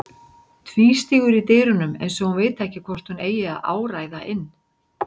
Tvístígur í dyrunum eins og hún viti ekki hvort hún eigi að áræða inn.